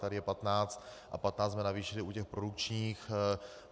Tady je 15 a 15 jsme navýšili u těch produkčních.